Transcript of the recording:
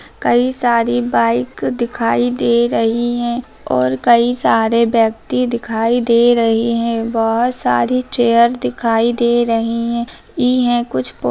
कई सारी बाइक दिखाई दे रही हैं और कई सारे व्यक्ति दिखाई दे रहे है बहोत सारी चेयर दिखाई दे रही हैं इ हैं कुछ--